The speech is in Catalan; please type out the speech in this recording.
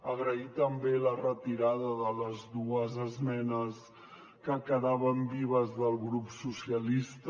agraïm també la retirada de les dues esmenes que quedaven vives del grup socialista